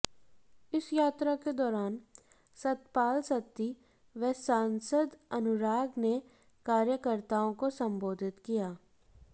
इस यात्रा के दौरान सतपाल सत्ती व सांसद अनुराग ने कार्यकर्ताओं को संबोधित किया